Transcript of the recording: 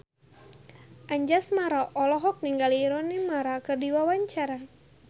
Anjasmara olohok ningali Rooney Mara keur diwawancara